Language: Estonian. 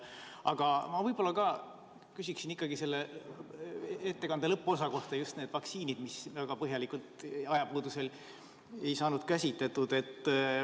Aga ma võib-olla küsiksin ka selle ettekande lõpuosa kohta, just nende vaktsiinide kohta, mida ajapuuduse tõttu väga põhjalikult ei saanud käsitleda.